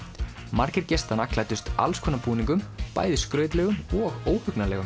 margir gestanna klæddust alls konar búningum bæði skrautlegum og